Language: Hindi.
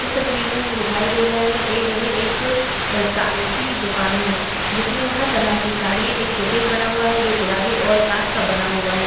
इस तस्वीर में हमें दिखाई दे रहा य यह एक साड़ी की दुकान है जिसमे हर तरह की साड़ियां एक शोकेस बना हुआ है जो गुलाबी और काँच का बना हुआ है ।